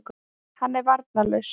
Hann er varnarlaus.